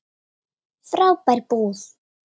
Frábær búð.